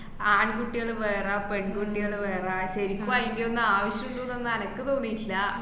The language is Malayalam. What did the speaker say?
ആണ്‍കുട്ടികള് വേറെ പെൺകുട്ടികള് വേറെ ശരിക്കും അയിന്‍റെയൊന്നും ആവശ്യമുണ്ട്ന്നൊന്നും അനക്ക് തോന്നീട്ട്ല്ല